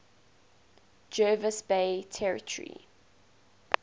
jervis bay territory